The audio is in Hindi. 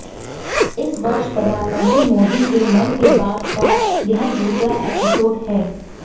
इस वर्ष प्रधानमंत्री मोदी के मन के बात का यह दूसरा एपिसोड है